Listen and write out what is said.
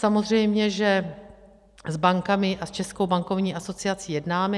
Samozřejmě že s bankami a s Českou bankovní asociací jednáme.